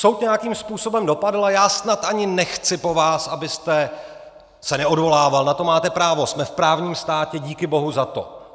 Soud nějakým způsobem dopadl, a já snad ani nechci po vás, abyste se neodvolával, na to máte právo, jsme v právním státě, díky bohu za to.